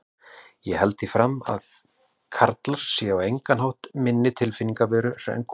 Ég held því fram að karlar séu á engan hátt minni tilfinningaverur en konur.